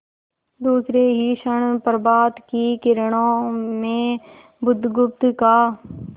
दूसरे ही क्षण प्रभात की किरणों में बुधगुप्त का